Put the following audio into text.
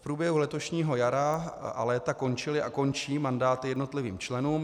V průběhu letošního jara a léta končily a končí mandáty jednotlivým členům.